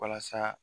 Walasa